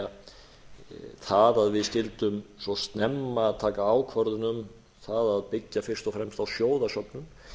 er það að við skyldum svo snemma taka ákvörðun um það að byggja fyrst og fremst á sjóðasöfnun